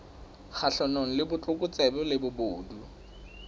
kgahlanong le botlokotsebe le bobodu